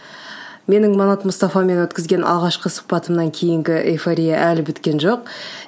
менің манат мұстафамен өткізген алғашқы сұхбатымнан кейінгі эйфория әлі біткен жоқ